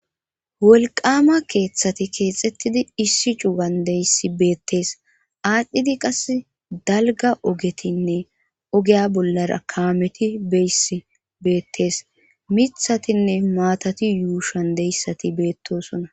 Wolqama keeththati keexxettidi issi cugan deyssi beettees aadhdhidi qas dalga ogetinne ogeya bollara kaameti beyss beettes mithatinne maatati yuushan deyssati beettosona.